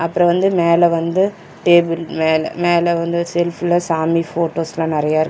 அப்றோ வந்து மேல வந்து டேபிள் மேல மேல வந்து செல்ஃப்ல சாமி போட்டோஸ்லா நறையா இரு--